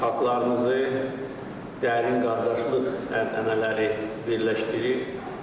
Xalqlarımızı dərin qardaşlıq ənənələri birləşdirir.